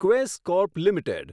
Quess corp limited